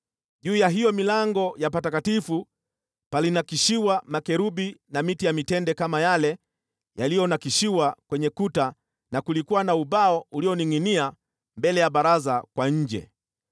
Juu ya hiyo milango ya Patakatifu palinakshiwa makerubi na miti ya mitende kama yale yaliyonakshiwa kwenye kuta, na kulikuwa na ubao ulioningʼinia mbele ya baraza kwa nje.